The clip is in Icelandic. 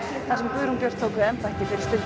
þar sem Guðrún Björt tók við embætti fyrir stuttu